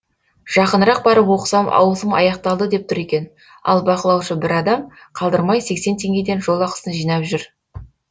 жақынырақ барып оқысам ауысым аяқталды деп тұр екен ал бақылаушы бір адам қалдырмай сексен теңгеден жол ақысын жинап жүр